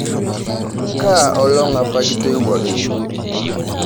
Kaa olong apa kitoiwoki?